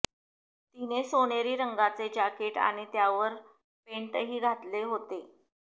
तिने सोनेरी रंगाचे जाकीट आणि त्यावर पेंटही घातले होते